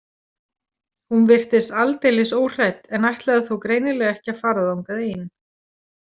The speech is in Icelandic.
Hún virtist aldeilis óhrædd en ætlaði þó greinilega ekki að fara þangað ein.